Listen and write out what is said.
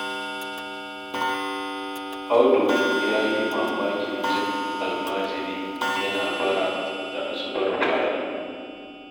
Audu ya yi mamakin jin almajiri yana bara da asubar fari.